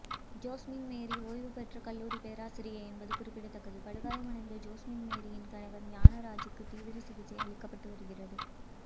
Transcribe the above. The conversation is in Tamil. ஜோஸ்மின்மேரி ஓய்வுபெற்ற கல்லூரி பேராசிரியை என்பது குறிப்பிடத்தக்கது படுகாயமடைந்த ஜோஸ்மின்மேரியின் கணவர் ஞானராஜுக்கு தீவிர சிகிச்சை அளிக்கப்பட்டு வருகிறது